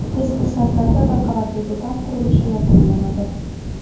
Tez fursatlarda bir qavatli do‘kon qurilishi yakunlanadi.